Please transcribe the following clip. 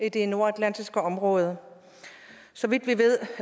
i det nordatlantiske område så vidt vi ved